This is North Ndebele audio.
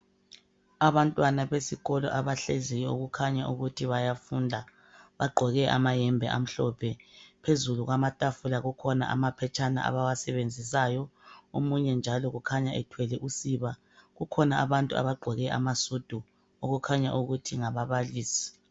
Abantwana besikolo abahleziyo okukhanya ukuthi bayafunda, baqgoke amayembe amhlophe, phezulu kwamatafula kukhona amaphetshana abawasebenzisayo, omunye njalo kukhanya ethwele usiba kukhona abantu abaqgoke amasudu okukhanya ukuthi ngababalisi.